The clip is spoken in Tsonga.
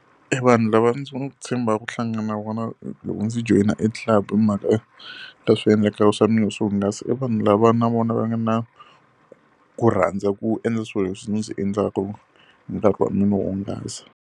E vanhu lava ndzi tshembaka ku hlangana na vona loko ndzi joyina e club hi mhaka swiendlakalo swa mina swo hungasa i vanhu lava na vona va nga na ku rhandza ku endla swilo leswi ndzi endlaka hi nkarhi wa mina wo hungasa.